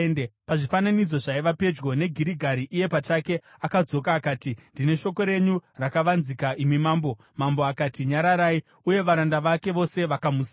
Pazvifananidzo zvaiva pedyo neGirigari iye pachake akadzoka akati, “Ndine shoko renyu rakavanzika, imi mambo.” Mambo akati, “Nyararai!” uye varanda vake vose vakamusiya.